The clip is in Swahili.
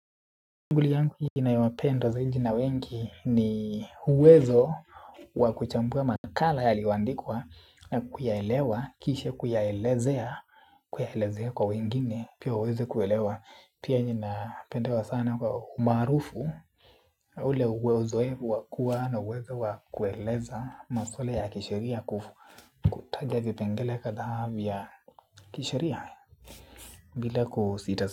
Tunguli yangu nyingi naowapenda zaidoi na wengi ni uwezo wa kuchambua makala yaliyoandikwa na kuyaelewa, kisha kuyaelezea, kuyaelezea kwa wengine, pia uweze kuelewa, pia ina pendewa sana kwa umaarufu, ule uwezo wa kua na uwezo wa kueleza masuala ya kisheria kutaja vipengele kadhaa vya kisheria, bila kusita.